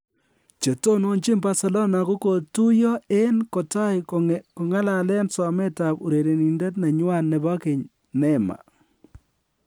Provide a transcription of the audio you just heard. Che tononchin Barcelona kogotuiyo en kotai kong'alalen somet ab urererindet nenywan nebo keny Neymar.